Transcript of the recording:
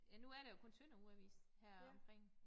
Ja nu er der jo kun Tønder Ugeavis heromkring